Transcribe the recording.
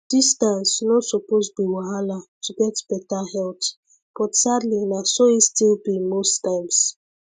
distance no suppose be wahala to get better health but sadly na so e still be most times